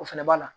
O fɛnɛ b'a la